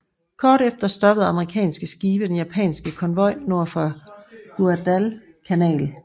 Kort efter stoppede amerikanske skibe den japanske konvoj nord for Guadalcanal